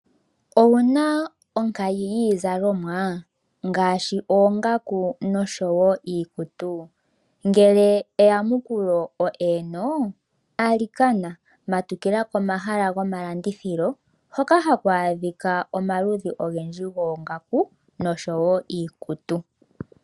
Owu na onkayi yiizalomwa ngaashi oongaku nosho wo iikutu? Ngele eyamukulo o eeno alikana matukila komahala gomalandithilo hoka haku adhika omakudhi ogendji goongaku osho wo iikutu.